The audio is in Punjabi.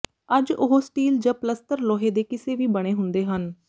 ਅੱਜ ਉਹ ਸਟੀਲ ਜ ਪਲੱਸਤਰ ਲੋਹੇ ਦੇ ਕਿਸੇ ਵੀ ਬਣੇ ਹੁੰਦੇ ਹਨ